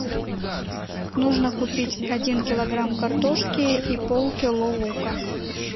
нужно купить один килограмм картошки и полкило лука